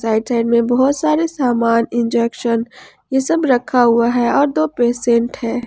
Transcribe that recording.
Right hand में बहुत सारे सामान इंजेक्शन ये सब रखा हुआ है और दो पेशेंट है।